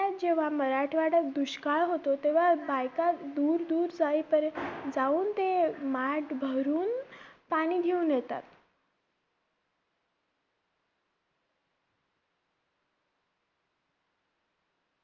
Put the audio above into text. जेव्हा मराठवाड्यात दुष्काळ होतो, तेव्हा बायका दूर दूर जाई~ जाऊन ते माठ भरून पाणी घेऊन येतात.